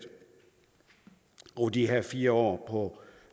over de her fire år